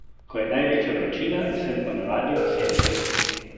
Ko je največja vročina, sem po navadi v senčki.